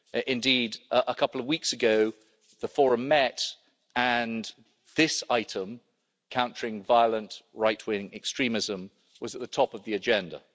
Indeed, a couple of weeks ago, the Internet Forum met, and this item countering violent right-wing extremism was at the top of the agenda.